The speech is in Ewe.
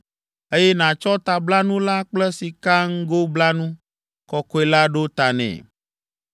eye nàtsɔ tablanu la kple sikaŋgoblanu kɔkɔe la ɖo ta nɛ.